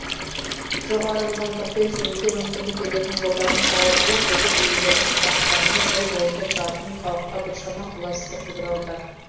жоғары жылдамдықпен жүруге мүмкіндік беретін жолдардың салынуы көлік иелерін қуантқанымен жол бойында тұратын халыққа біршама қолайсыздық тудыруда